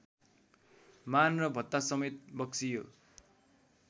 मान र भत्तासमेत बक्सियो